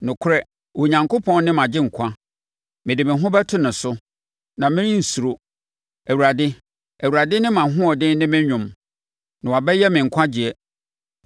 Nokorɛ, Onyankopɔn ne mʼagyenkwa; mede me ho bɛto ne so, na merensuro. Awurade, Awurade ne mʼahoɔden ne me dwom; na wabɛyɛ me nkwagyeɛ.”